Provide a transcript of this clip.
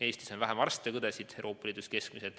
Eestis on vähem arste ja õdesid kui Euroopa Liidus keskmiselt.